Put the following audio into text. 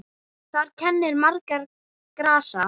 Þar kennir margra grasa.